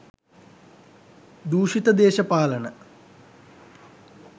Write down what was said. දූෂිත දේශපාලන